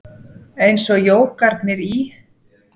Eins og jógarnir í